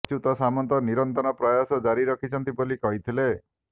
ଅଚ୍ୟୁତ ସାମନ୍ତ ନିରନ୍ତର ପ୍ରୟାସ ଜାରି ରଖିଛନ୍ତି ବୋଲି କହିଥିଲେ